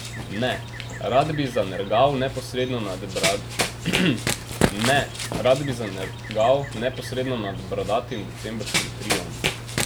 Ne, rad bi zanergal neposredno nad bradatim decembrskim triom.